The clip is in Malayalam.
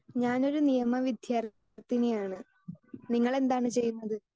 സ്പീക്കർ 2 ഞാനൊരു നിയമ വിദ്യാർത്ഥിനി ആണ് നിങ്ങളെന്താണ് ചെയ്യുന്നത്